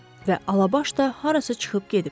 Və Alabaş da harasa çıxıb gedib.